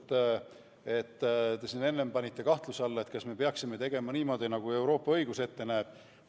Te panite siin enne kahtluse alla, kas me peaksime tegema niimoodi, nagu Euroopa õigus ette näeb.